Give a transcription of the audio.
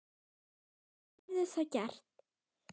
Sunna: Verður það gert?